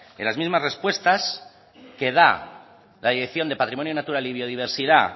en las mismas respuestas que da la dirección de patrimonio natural y biodiversidad